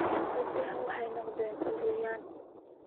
Gabadhii waxay noqotay curyaan